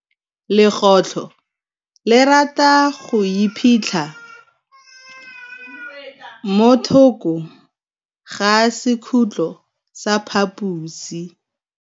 Legôtlô le rata go iphitlha mo thokô ga sekhutlo sa phaposi.